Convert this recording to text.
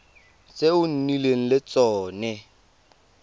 tse o nnileng le tsone